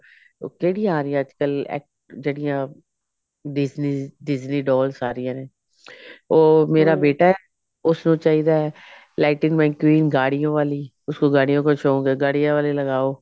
ਉਸਤੇ ਨਹੀਂ ਆ ਰਹੀ ਅੱਜਕਲ ਐਕ ਜਿਹੜੀਆਂ Disney's Disney dolls ਆ ਰਹਿਆ ਨੇ ਉਹ ਮੇਰਾ ਬੇਟਾ ਉਸ ਨੂੰ ਚਾਹਿਦਾ ਹੈ lightening my dream ਗਾਡਿਓ ਵਾਲੀ ਉਸਕੋ ਗਾਡਿਓ ਕਾ ਸ਼ੋਂਕ ਹੈ ਗਾਡਿਓ ਵਾਲੀ ਲਗਾਓ